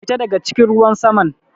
Fita daga cikin ruwan saman!